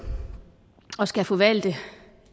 og skal forvalte